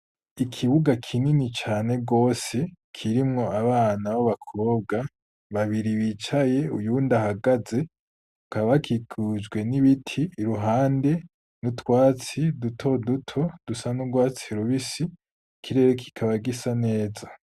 Ikibuga kinini cane gose, kirimwo abana b'abakobwa, babiri bicaye, uyundi ahagaze, bakaba bakikujwe n'ibiti, iruhande y'utwatsi dutoduto dusa n'urwatsi rubisi, ikirere kikaba gisa neza.